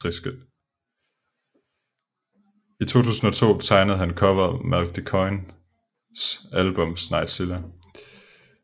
I 2002 tegnede han coveret Malk de Koijns album Sneglzilla